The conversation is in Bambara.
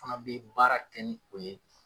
Fana bɛ baara kɛ ni o ye.